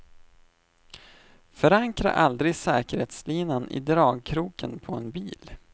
Förankra aldrig säkerhetslinan i dragkroken på en bil.